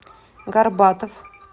горбатов